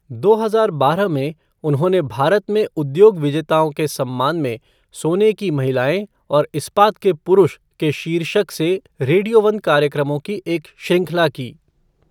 दो हजार बारह में, उन्होंने भारत में उद्योग विजेताओं के सम्मान में सोने की महिलाएँ और इस्पात के पुरुष के शीर्षक से रेडियो वन कार्यक्रमों की एक श्रृंखला की।